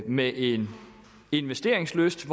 med en investeringslyst